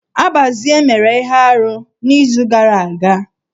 Abazie mere na ihe arụ n'izu gara aga.